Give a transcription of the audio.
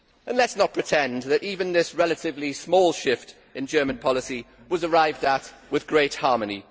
Let us not pretend that even this relatively small shift in German policy was arrived at with great harmony.